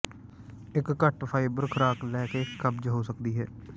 ਇੱਕ ਘੱਟ ਫਾਈਬਰ ਖੁਰਾਕ ਲੈ ਕੇ ਕਬਜ਼ ਹੋ ਸਕਦੀ ਹੈ